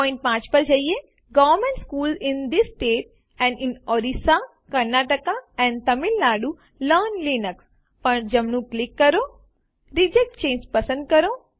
point 5 પર જઈને government schools in these states and in Orissa Karnataka and Tamil Nadu learn Linux પર જમણું ક્લિક કરો અને રિજેક્ટ ચાંગે પસંદ કરો